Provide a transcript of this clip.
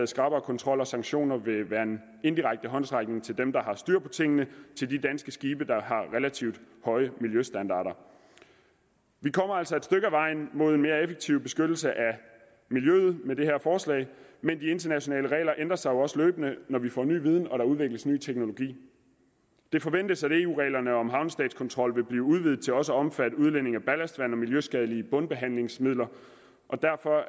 skarpere kontrol og sanktioner vil være en indirekte håndsrækning til dem der har styr på tingene til de danske skibe der har relativt høje miljøstandarder vi kommer altså et stykke ad vejen mod en mere effektiv beskyttelse af miljøet men de internationale regler ændrer sig jo også løbende når vi får ny viden og når der udvikles ny teknologi det forventes at eu reglerne om havnestatskontrol vil blive udvidet til også at omfatte udledningen af ballastvand og miljøskadelige bundbehandlingsmidler derfor